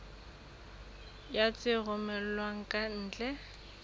ya tse romellwang ka ntle